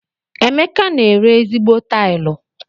Emeka n'ere ezigbo tilu.